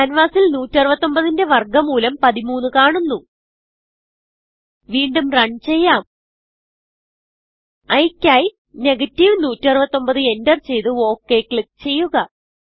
ക്യാൻവാസിൽ 169 ന്റെ വർഗ മൂലം 13 കാണുന്നു വീണ്ടും റണ് ചെയ്യാം iയ്ക്കായി 169enterചെയ്ത് okക്ലിക്ക് ചെയ്യുക